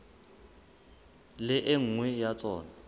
le e nngwe ya tsona